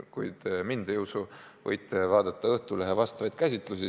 Kui te mind ei usu, võite vaadata Õhtulehe käsitlusi.